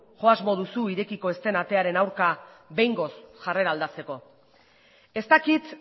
jo asmo duzu irekiko ez den atearen aurka behingoz jarrera aldatzeko ez dakit